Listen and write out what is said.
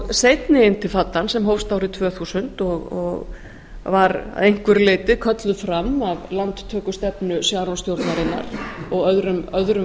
seinni intefadan sem hófst árið tvö þúsund og var að einhverju leyti kölluð fram af landtökustefnu sharonssstjórnarinnar og öðrum